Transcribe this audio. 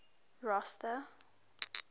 rosta